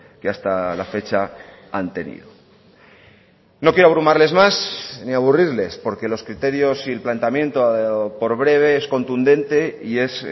que hasta la fecha han tenido no quiero abrumarles más ni aburrirles porque los criterios y el planteamiento por breve es contundente y es